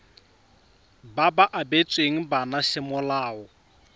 ba ba abetsweng bana semolao